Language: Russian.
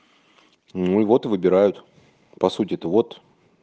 ну вот и выбирают по сути то вот